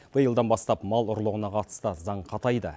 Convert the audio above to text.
биылдан бастап мал ұрлығына қатысты заң қатайды